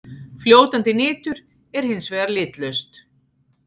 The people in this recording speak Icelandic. Fljótandi nitur er hins vegar litlaust.